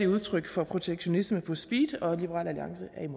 udtryk for protektionisme på speed